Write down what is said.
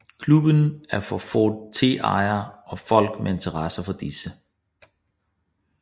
Klubben er for Ford T ejere og folk med interesse for disse